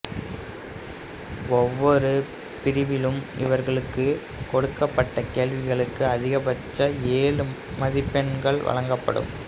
ஒவ்வொரு பிரிவிலும் இவர்களுக்குக் கொடுக்கப்படும் கேள்விகளுக்கு அதிகபட்சம் ஏழு மதிப்பெண்கள் வழங்கப்படும்